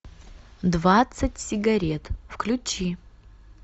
двадцать сигарет включи